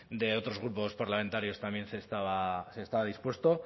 de otros grupos parlamentarios también se estaba dispuesto